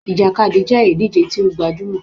Ìjàkadì jẹ́ ìdíje tí ó gbajúmọl